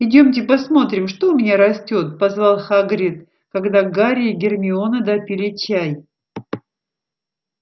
идёмте посмотрим что у меня растёт позвал хагрид когда гарри и гермиона допили чай